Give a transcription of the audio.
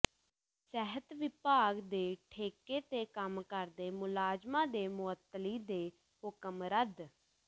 ਸਿਹਤ ਵਿਭਾਗ ਦੇ ਠੇਕੇ ਤੇ ਕੰਮ ਕਰਦੇ ਮੁਲਾਜ਼ਮਾਂ ਦੇ ਮੁਅੱਤਲੀ ਦੇ ਹੁਕਮ ਰੱਦ